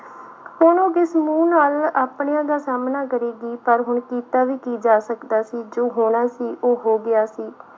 ਹੁਣ ਉਹ ਕਿਸ ਮੂੰਹ ਨਾਲ ਆਪਣਿਆਂ ਦਾ ਸਾਹਮਣਾ ਕਰੇਗੀ ਪਰ ਹੁਣ ਕੀਤਾ ਵੀ ਕੀ ਜਾ ਸਕਦਾ ਸੀ ਜੋ ਹੋਣਾ ਸੀ ਉਹ ਹੋ ਗਿਆ ਸੀ।